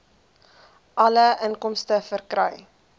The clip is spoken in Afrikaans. alle inkomste verkry